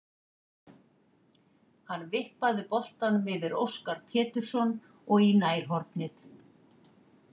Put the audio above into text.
Hann vippaði boltanum yfir Óskar Pétursson og í nærhornið.